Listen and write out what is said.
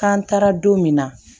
K'an taara don min na